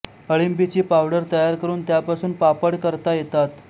अळिंबीची powder तयार करून त्यापासून पापड करता येतात